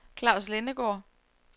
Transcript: Klaus Lindegaard